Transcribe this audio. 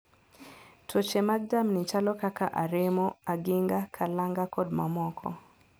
Tuoche mag jamni chalo kaka aremo, aginga, kalanga kod mamoko